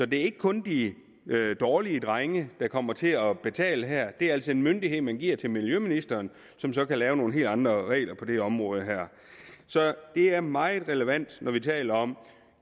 det er ikke kun de dårlige drenge der kommer til at betale her det er altså en myndighed man giver til miljøministeren som så kan lave nogle helt andre regler på det område her så det er meget relevant når vi taler om